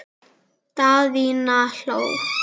Daðína hló.